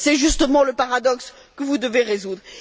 c'est justement le paradoxe que vous devez résoudre.